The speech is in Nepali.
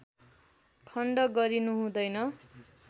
खण्ड गरिनु हुँदैन